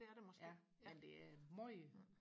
det er det måske